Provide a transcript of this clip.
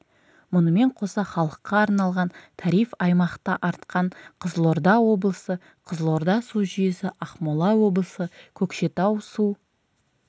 мұнымен қоса халыққа арналған тариф аймақта артқан қызылорда облысы қызылорда су жүйесі ақмола облысы көкшетау су